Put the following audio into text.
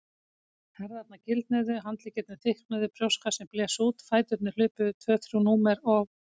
Herðarnar gildnuðu, handleggirnir þykknuðu, brjóstkassinn blés út, fæturnir hlupu yfir tvö þrjú númer og.